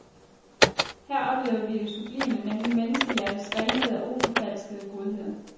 Her oplevede vi det sublime, nemlig menneskehjertets renhed og uforfalskede godhed.